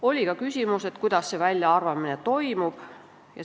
Oli ka küsimus, kuidas see väljaarvamine toimub.